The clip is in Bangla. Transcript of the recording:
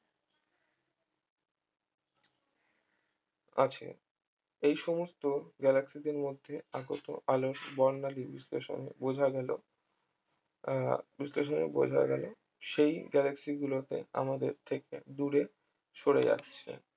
আছে এই সমস্ত galaxy দের মধ্যে আগত আলোর বর্ণালী বিশ্লেষণ বোঝা গেল আহ বিশ্লেষণে বোঝা গেল সেই galaxy গুলোতে আমাদের থেকে দূরে সরে যাচ্ছে